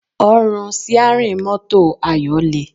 Ọrùn síárìn mọ́tò Ayọ̀ le